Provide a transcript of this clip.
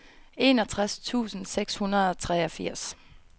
enogtres tusind seks hundrede og treogtres